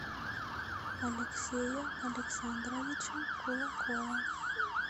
алексея александровича кулакова